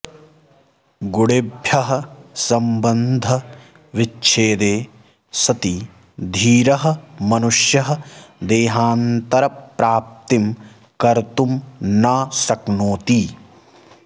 गुणेभ्यः सम्बन्धविच्छेदे सति धीरः मनुष्यः देहान्तरप्राप्तिं कर्तुं न शक्नोति